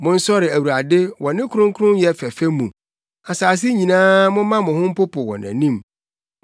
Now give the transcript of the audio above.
Monsɔre Awurade wɔ ne kronkronyɛ fɛfɛ mu; asase nyinaa momma mo ho mpopo wɔ nʼanim.